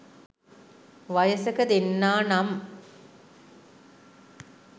වයසක දෙන්නා නම්